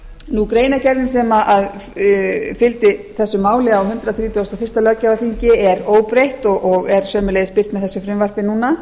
vor greinargerðin sem fylgdi þessu máli á hundrað þrítugasta og fyrsta löggjafarþingi er óbreytt og er sömuleiðis birt með þessu frumvarpi núna